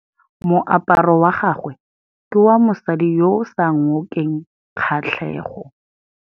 Moaparô wa gagwe ke wa mosadi yo o sa ngôkeng kgatlhegô.